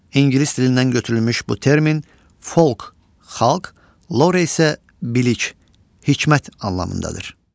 İngilis dilindən götürülmüş bu termin "folk" – xalq, "lore" isə bilik, hikmət anlamındadır.